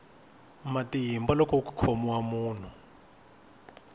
matimba loko ku khomiwa munhu